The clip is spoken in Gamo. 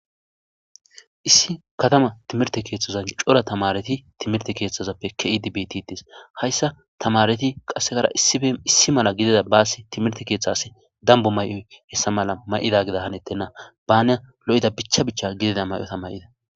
Issi katama timirtte keeththazan cora tamaareti timirte keeththazape ke7idi beetidi deetes hayssa tamaareti issipe issi gina bas timirte keeththas dambbe mayozayssa mala may7ibeetena baas bana lo7ida bichcha bichcha gidida mayota mayida.